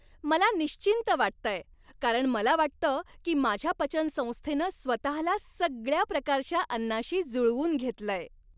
मला निश्चिंत वाटतंय, कारण मला वाटतं की माझ्या पचनसंस्थेनं स्वतःला सगळ्या प्रकारच्या अन्नाशी जुळवून घेतलंय.